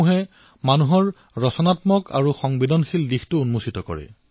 সাধুৱে মানুহৰ ৰচনাত্মক আৰু সংবেদনশীল স্বভাৱক উন্মোচিত কৰে